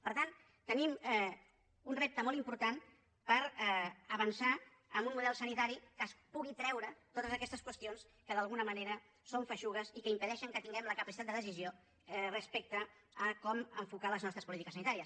per tant tenim un repte molt important per avançar en un model sanitari que es pugui treure totes aquestes qüestions que d’alguna manera són feixugues i que impedeixen que tinguem la capacitat de decisió respecte a com enfocar les nostres polítiques sanitàries